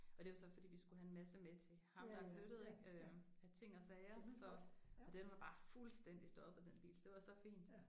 Og det var så fordi vi skulle have en masse med til ham der er flyttet ik øh af ting og sager så og den var bare fuldstændig stoppet den bil så det var så fint